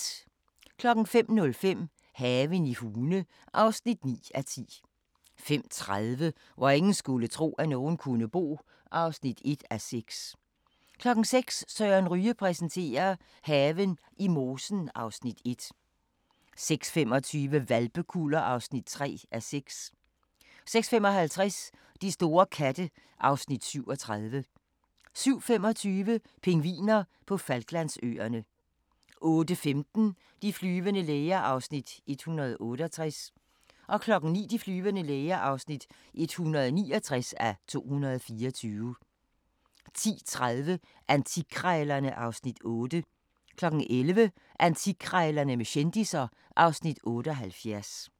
05:05: Haven i Hune (9:10) 05:30: Hvor ingen skulle tro, at nogen kunne bo (1:6) 06:00: Søren Ryge præsenterer: Haven i mosen (Afs. 1) 06:25: Hvalpekuller (3:6) 06:55: De store katte (Afs. 37) 07:25: Pingviner på Falklandsøerne 08:15: De flyvende læger (168:224) 09:00: De flyvende læger (169:224) 10:30: Antikkrejlerne (Afs. 8) 11:00: Antikkrejlerne med kendisser (Afs. 78)